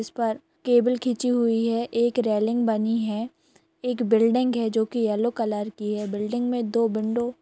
इस पर केबल खिचीं हुई है एक रेलिंग बनी है एक बिल्डिंग है जो की येलो कलर की है बिल्डिंग में दो विंडो --